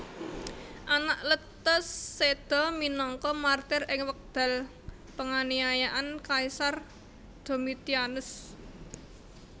Anakletus séda minangka martir ing wekdal panganiayan Kaisar Domitianus